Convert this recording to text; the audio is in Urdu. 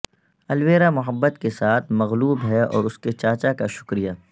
الویرا محبت کے ساتھ مغلوب ہے اور اس کے چاچا کا شکریہ